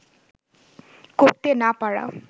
করতে না পারা